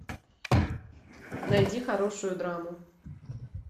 найди хорошую драму